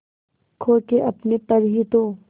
खो के अपने पर ही तो